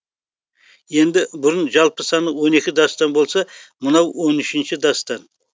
енді бұрын жалпы саны он екі дастан болса мынау он үшінші дастан